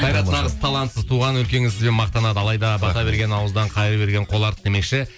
қайрат нағыз талантсыз туған өлкеңіз сізбен мақтанады алайда бата берген ауыздан қайыр берген қол артық демекші